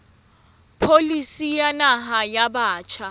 pholisi ya naha ya batjha